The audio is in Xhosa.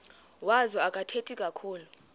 wazo akathethi kakhulu